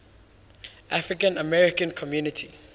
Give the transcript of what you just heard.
african american community